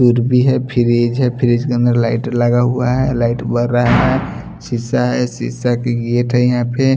फिर भी है फ्रिज है फ्रिज के अंदर लाइट लगा हुआ है लाइट बर रहा है शीशा है शीशा की गेट है यहां पे--